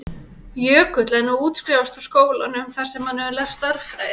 Jökull er nú að útskrifast úr skólanum þar sem hann hefur lært stærðfræði.